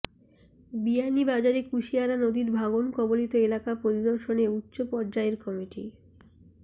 বিয়ানীবাজারে কুশিয়ারা নদীর ভাঙনকবলিত এলাকা পরিদর্শনে উচ্চ পর্যায়ের কমিটি